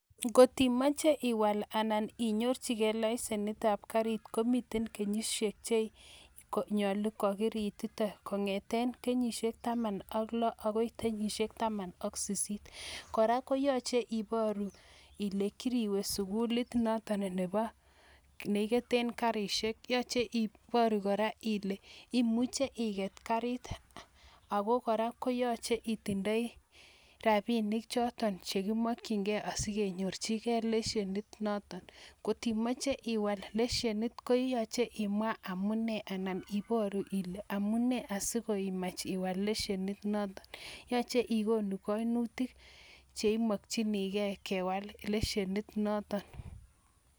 Ngot imache iwaal anan inyorchikei laisenitab kariit komiten kenyisiek che nyolu kori ititen, kongete kenyisiek taman ak loo akoi kenyisiek taman ak sisit. Kora, koyache iporu kole kiriwe sukulit noto nebo nekiketen kariishek, yache iporu kora kole imuche iket kariit ako kora koyache itindoi rapinik choton chekimakchikei asikenyorchikei leisenit noto. Ngot imeche iwaal leshenet koyache imwaa amune anan iporu amune asikoimach iwaal leshenit noto. Yoche ikonu kainutik che imakchinikei kewaal leshenit noton.